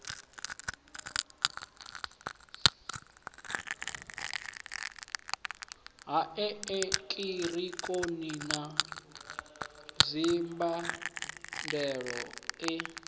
ha eekihironiki na dzimbandelo e